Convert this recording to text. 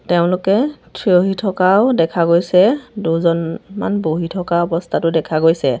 তেওঁলোকে থিয় হৈ থকাও দেখা গৈছে দুজনমান বহি থকা অৱস্থাতো দেখা গৈছে।